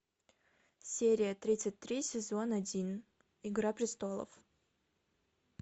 серия тридцать три сезон один игра престолов